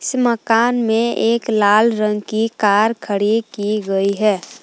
मकान में एक लाल रंग की कार खड़ी की गई है।